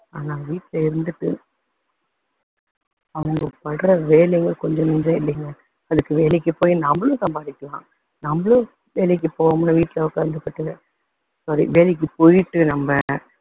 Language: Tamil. ஆனா வீட்ல இருந்துட்டு அவங்க பண்ற வேலைங்க கொஞ்ச நஞ்சம் இல்லைங்க, அதுக்கு வேலைக்கு போய் நம்மளும் சம்பாதிக்கலாம், நம்மளும் வேலைக்கு போவோம்ல வீட்ல உக்காந்துருக்கதுக்கு, வேலைக்கு போய்ட்டு நம்ம